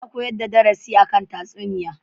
Ana koyar da darasi a kan tatsuniya.